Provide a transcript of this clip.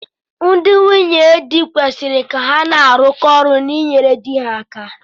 Ndị nwunye di kwesịri ka ha na-arụkọ ọrụ na inyere di ha aka